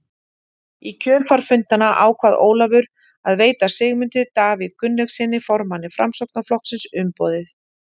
Í kjölfar fundanna ákvað Ólafur að veita Sigmundi Davíð Gunnlaugssyni, formanni Framsóknarflokksins, umboðið.